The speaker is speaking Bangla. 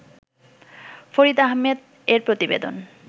ফরিদ আহমেদ এর প্রতিবেদন